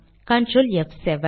control ப்7